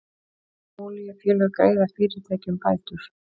Olíufélög greiða fyrirtækjum bætur